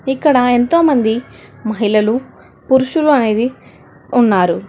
ఇక్కడ ఎంతోమంది మహిళలు పురుషులు అనేది ఉన్నారు.